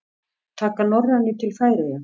Taka Norrænu til Færeyja?